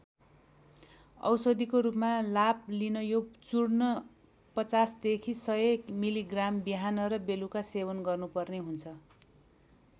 औषधिको रूपमा लाभ लिन यो चूर्ण पचासदेखि सय मिलिग्राम बिहान र बेलुका सेवन गर्नुपर्ने हुन्छ।